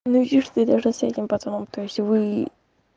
ну видишь ты должна с этим пацаном то есть вы